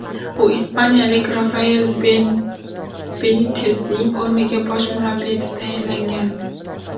U ispaniyalik Rafael Benitesning o‘rniga bosh murabbiy etib tayinlgandi.